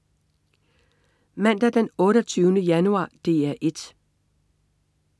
Mandag den 28. januar - DR 1: